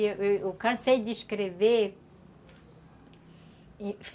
Eu cansei de escrever.